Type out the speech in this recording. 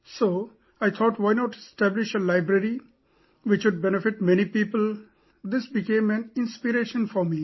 So, I thought why not establish a library, which would benefit many people, this became an inspiration for me